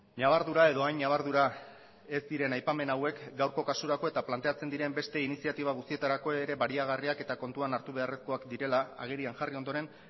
ñabardura edo hain ñabardura ez diren aipamen hauek gaurko kasurako eta planteatzen diren beste iniziatiba guztietarako ere baliagarriak eta kontuan hartu beharrezkoak direla agerian jarri ondoren